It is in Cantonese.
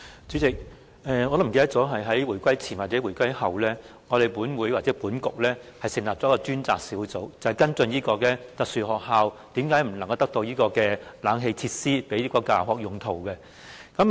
主席，我已經忘記是回歸前還是回歸後，立法局或立法會曾成立一個小組委員會，跟進身體弱能兒童學校的設施，包括無法安裝空調設備作教學用途的原因。